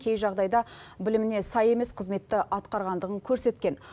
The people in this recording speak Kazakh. кей жағдайда біліміне сай емес қызметті атқарғандығын көрсеткен